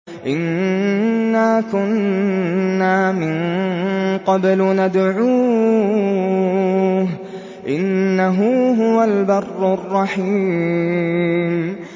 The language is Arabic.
إِنَّا كُنَّا مِن قَبْلُ نَدْعُوهُ ۖ إِنَّهُ هُوَ الْبَرُّ الرَّحِيمُ